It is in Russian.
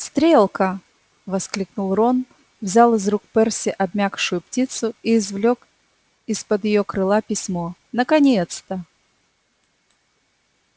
стрелка воскликнул рон взял из рук перси обмякшую птицу и извлёк из-под её крыла письмо наконец-то